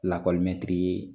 Lakɔlimɛtiri ye